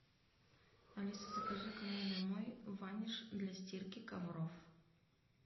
алиса закажи ка мне домой ваниш для стирки ковров